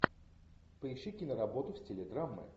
поищи киноработу в стиле драмы